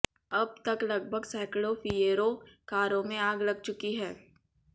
अब तक लगभग सैकड़ो फिएरो कारों में आग लग चुकी है